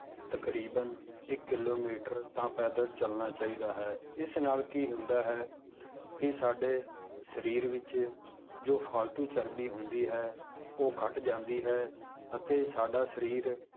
ਤਕਰੀਬਨ ਇੱਕ ਕਿੱਲੋਮੀਟਰ ਤਾਂ ਪੈਦਲ ਚੱਲਣਾ ਚਾਹੀਦਾ ਹੈ ਇਸ ਨਾਲ ਕੀ ਹੁੰਦਾ ਹੈ ਕਿ ਸਾਡੇ ਸਰੀਰ ਵਿੱਚ ਜੋ ਫਾਲਤੂ ਚਰਬੀ ਹੁੰਦੀ ਹੈ, ਉਹ ਘੱਟ ਜਾਂਦੀ ਹੈ ਅਤੇ ਸਾਡਾ ਸਰੀਰ